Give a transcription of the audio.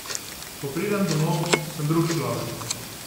Ko pridem domov, sem drug človek.